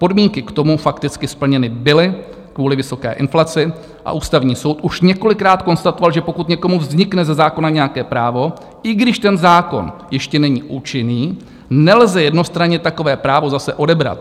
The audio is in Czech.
Podmínky k tomu fakticky splněny byly kvůli vysoké inflaci a Ústavní soud už několikrát konstatoval, že pokud někomu vznikne ze zákona nějaké právo, i když ten zákon ještě není účinný, nelze jednostranně takové právo zase odebrat.